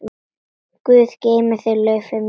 Guð geymi þig, Laufey mín.